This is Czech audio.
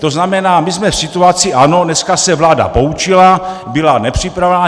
To znamená, my jsme v situaci, ano, dneska se vláda poučila, byla nepřipravená.